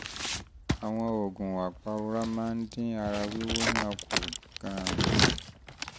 àwọn oògùn apàrora máa ń dín ara wíwú náà kù gan-an